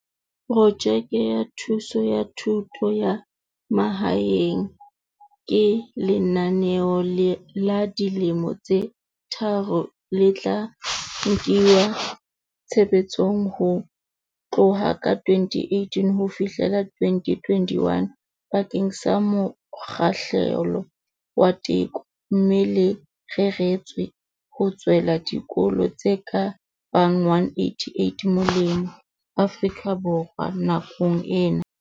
Projeke ya Thuso ya Thuto ya Mahaeng, REAP, ke lenaneo la dilemo tse tharo le tla kenngwa tshebetsong ho tloha ka 2018 ho fihlela 2021 bakeng sa mokgahlelo wa teko, mme le reretswe ho tswela dikolo tse ka bang 188 molemo Afrika Borwa nakong ena.